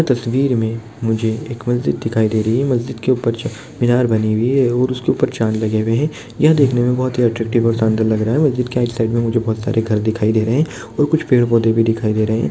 तसवीर मैं मुझे एक मस्जिद दिखाई दे रही है। मस्जिद के ऊपर जो च मीनार बनी हुई है और उसके ऊपर चाँद बने हुये हैं। यह देखने में बहुत ही अट्रैक्टिव और शानदार लग रहा है। मस्जिद के एक साइड में बहुत सारे घर दिखाई दे रहे हैं और कुछ पेड़- पौधे दिखाई दे रहे हैं।